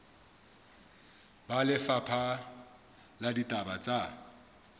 ba lefapha la ditaba tsa